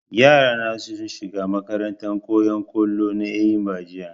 yara na sun shiga makarantan koyan kollo na eyimba jiya